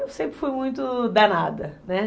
Eu sempre fui muito danada, né?